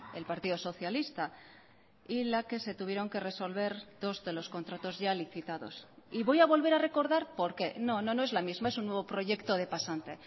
el partido socialista y la que se tuvieron que resolver dos de los contratos ya licitados y voy a volver a recordar por qué no no es la misma es un nuevo proyecto de pasante